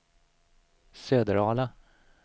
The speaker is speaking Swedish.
Söderala